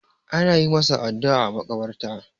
ana yi masa addu'a a makabarta